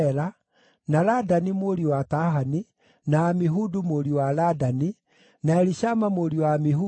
na Ladani mũriũ wa Tahani, na Amihudu mũriũ wa Ladani, na Elishama mũriũ wa Amihudu,